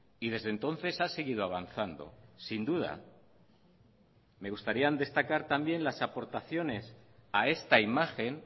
y desde entonces ha seguido avanzando sin duda me gustaría destacar también las aportaciones a esta imagen